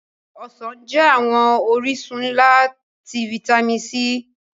Ọsan jẹ awọn orisun nla ti fitami C